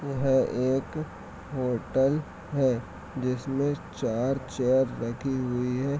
यह है एक होटल है जिसमे चार - चार बैठी हुई है ।